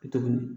Tuguni